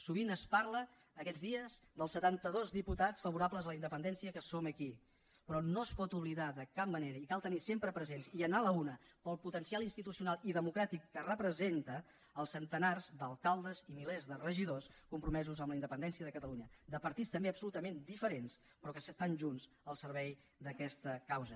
sovint es parla aquests dies dels setanta dos diputats favorables a la independència que som aquí però no es poden oblidar de cap manera i cal tenir los sempre presents i anar a la una pel potencial institucional i democràtic que representen els centenars d’alcaldes i milers de regidors compromesos amb la independència de catalunya de partits també absolutament diferents però que estan junts al servei d’aquesta causa